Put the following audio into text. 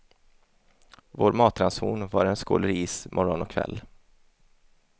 Vår matranson var en skål ris morgon och kväll.